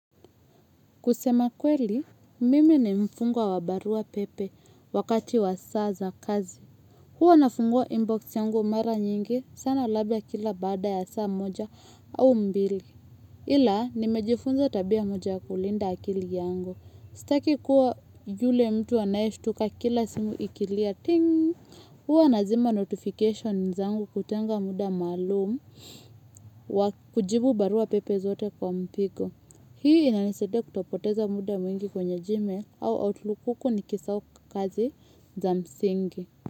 Kusema kweli, mimi ni mfungwa wa barua pepe wakati wa saa za kazi. Hua nafungua inbox yangu mara nyingi sana labla kila baada ya saa moja au mbili. Ila, nimejifunza tabia moja ya kulinda akili yangu. Sitaki kuwa yule mtu anaeshtuka kila simu ikilia ting. Huwa nazima notification zangu kutenga muda maalum wa kujibu barua zote kwa mpigo. Hii inanisaidia kutopoteza muda mwingi kwenye gmail au outlook huku nikisahau kazi za msingi.